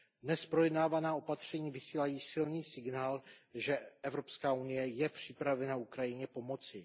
Dnes projednávaná opatření vysílají silný signál, že Evropská unie je připravena Ukrajině pomoci.